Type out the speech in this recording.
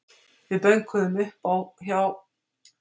Við bönkuðum upp á hjá